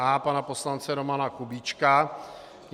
A pana poslance Romana Kubíčka.